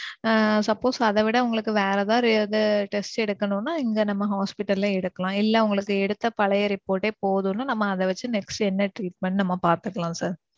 ஆஹ் suppose அதைவிட உங்களுக்கு வேற ஏதாவது test எடுக்கணும்னா இங்க நம்ம hospital ல எடுக்கலாம். இல்ல உங்களுக்கு எடுத்த பழைய reports டே போதும்னா நம்ம அத வச்சு next என்ன treatment னு நம்ம பாத்துக்கலாம் sir.